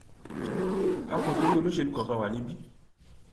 a kò torí olóṣèlú kankan wa níbí